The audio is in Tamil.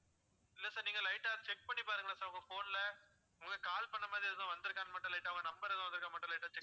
இல்ல sir நீங்க light ஆ check பண்ணி பாருங்களேன் sir உங்க phone ல உங்களுக்கு call பண்ணமாதிரி எதுவும் வந்துருக்கான்னு மட்டும் light ஆ ஒரு number எதுவும் வந்துருக்கான்னு மட்டும் light ஆ check